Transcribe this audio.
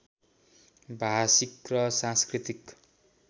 भाषिक र सांस्कृतिक